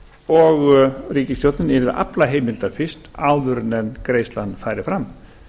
og ríkisstjórnin yrði að afla heimilda til áður en greiðslan færi fram